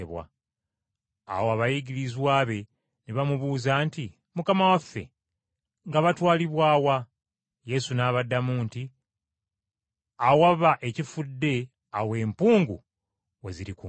Awo abayigirizwa be ne bamubuuza nti, “Mukama waffe, nga batwalibwa wa?” Yesu n’abaddamu nti, “Awaba ekifudde awo ensega we zirikuŋŋaanira!”